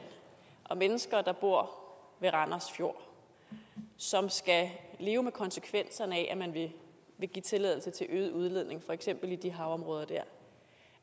og mennesker der bor ved randers fjord og som skal leve med konsekvenserne af at man vil give tilladelse til øget udledning for eksempel i de havområder der